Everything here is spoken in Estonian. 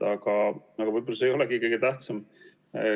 Aga võib-olla see ei olegi kõige tähtsam.